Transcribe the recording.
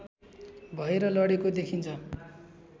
भएर लडेको देखिन्छ